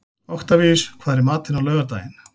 Oktavíus, hvað er í matinn á laugardaginn?